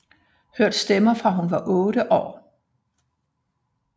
Hørt stemmer fra hun var otte år